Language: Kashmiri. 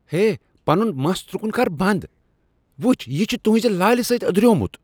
ہے! پنُن مَس تُرٛكُن كر بند۔ وُچھ، یہِ چُھ تُہنٛزِ لالہِ سٕتۍ أدرِیومُت۔